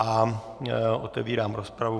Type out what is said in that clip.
A otevírám rozpravu.